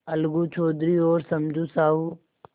अलगू चौधरी और समझू साहु